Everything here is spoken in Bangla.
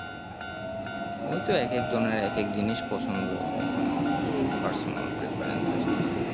ওই তো এক এক জনের এক এক জিনিস পছন্দ এখন personal preference আর কি